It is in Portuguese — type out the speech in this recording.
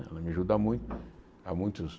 Ela me ajuda muito. Há muitos